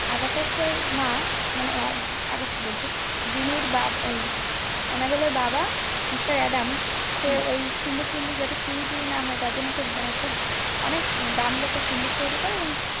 থাকতে মা মানে একজন আগাসি বলছি জিম্মির বাপ আন্নাবেলের বাবা মিস্টার এডামস সে ওই সিঁধহুক চুরি থুড়ি না হয়ে মানে অনেক দাম দিয়ে একটা সিন্ধুক তৈরী করে